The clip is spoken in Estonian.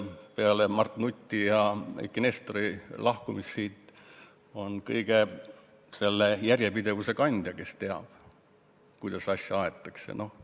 Peale Mart Nuti ja Eiki Nestori lahkumist on ta kogu selle järjepidevuse kandja, kes teab, kuidas asju aetakse.